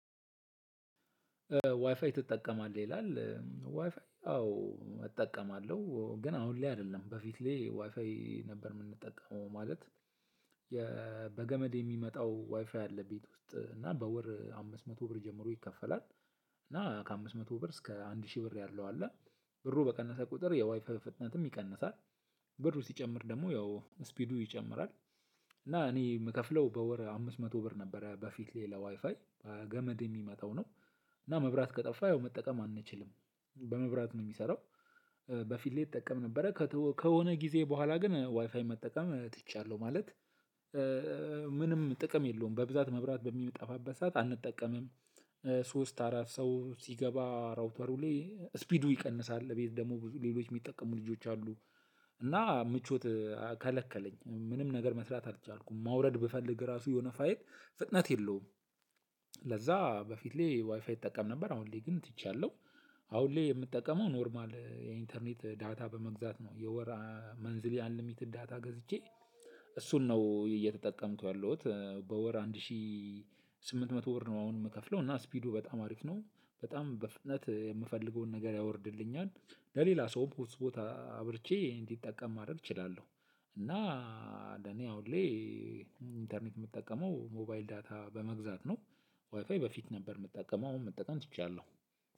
ዋይፋይ ትጠቀማለህ? ይላል ዋይፋይ አዎ እጠቀማለሁ። ግን አሁን ላይ አይደለም። በፊት ላይ ዋይፋይ ነበር የምንጠቀመው ማለት በገመድ የሚመጣው ዋይፋይ አለ ቤት ውስጥ እና በወር አምስት መቶ ብር ጀምሮ ይከፈላል። እና ከአምስት መቶ ብር እስከ አንድ ሺህ ብር ያለው አለ። ብሩ በቀነሰ ቁጥር የዋይፋ ፍጥነትም ይቀንሳል። ብር ሲጨምር ደግሞ ያው ስፒዱ ይጨምራል። እና እኔ የምከፍለው በወር አምስት መቶ ብር ነበር በፊት ሌላ ዋይፋይ በገመድ የሚመታው ነው። እና መብራት ከጠፋ ያው መጠቀም አንችልም። በመብራት ነው የሚሰራው። በፊት ላይ እጠቀም ነበረ ከሆነ ጊዜ በኋላ ግን ዋይፋይ መጠቀም ትቻለሁ። ማለት ምንም ጥቅም የለውም በብዛት መብራት በሚጠፋበት ሰዓት አንጠቀምም። ሶስት አራት ሰው ሲገባ ራውተሩ ላይ ስፒዱ ይቀንሳል። ቤት ደግሞ ብዙ ሌሎች የሚጠቀሙ ልጆች አሉ። እና ምቾት ከለከለኝ። ምንም ነገር መስራት አልቻልኩም። ማውረድ ብፈልግ ራሱ የሆነ ፋይል ፍጥነት የለውም። ለዛ በፊት ላይ ዋይፋይ ይጠቀም ነበር አሁን ላይ ግን ትቻለሁ። አሁን ላይ የምጠቀመው ኖርማል የኢንተርኔት ዳታ በመግዛት ነው የወር መንዝሊይ አንሊሚትድ ዳታ ገዝቼ፤ እሱን ነው እየተጠቀምኩ ያለሁት በወር አንድ ሺ ስምንት መቶ ብር ነው አሁን የምከፍለው እና ስፒዱ በጣም አሪፍ ነው። በጣም በፍጥነት የምፈልገውን ነገር ያወርድልኛል። ለሌላ ሰውም ሆትስፖት አብርቼ እንዲጠቀም ማድረግ እችላለሁ። እና ለኔ አሁን ላይ ኢንተርኔት የምጠቀመው ሞባይል ዳታ በመግዛት ነው። ዋይፋይ በፊት ነበር የምጠቀመው አሁን መጠቀም ትቻለሁ።